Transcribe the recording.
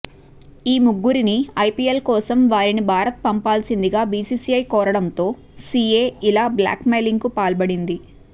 ఈ ముగ్గురిని ఐపీఎల్ కోసం వారిని భారత్ పంపాల్సిందిగా బీసీసీఐ కోరడంతో సీఏ ఇలా బ్లాక్మెయిలింగ్కు పాల్పడింది